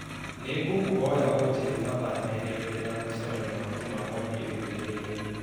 nĩ ngũkũhoya ũnjĩre mathaa merĩ mbere ya mũcemanio wa Jumamothu ĩrũmĩrĩire